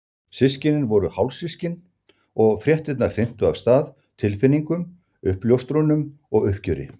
Systkinin voru hálfsystkin og fréttirnar hrintu af stað tilfinningum, uppljóstrunum og uppgjöri.